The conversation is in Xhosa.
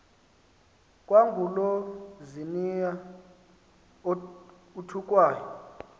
kwangulo ziniya uthukwayo